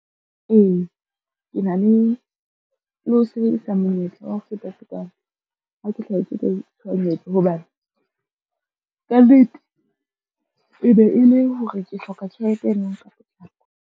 Ee, ke na le ho sebedisa monyetla wa ho feta tekano ha ke hlahetswe ke tshohanyetso, hobane kannete e be e le hore ke hloka tjhelete ena ka potlako.